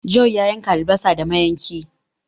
John ya yanka albasa da mayanki